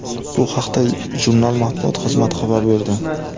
Bu haqda jurnal matbuot xizmati xabar berdi .